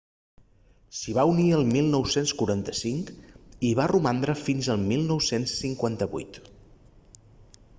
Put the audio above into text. s'hi va unir el 1945 i hi va romandre fins al 1958